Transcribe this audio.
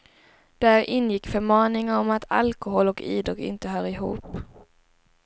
Där ingick förmaningar om att alkolhol och idrott inte hör ihop.